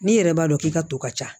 N'i yɛrɛ b'a dɔn k'i ka to ka ca